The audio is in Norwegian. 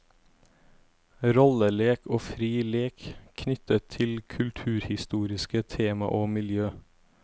Rollelek og fri lek knyttet til kulturhistoriske tema og miljø.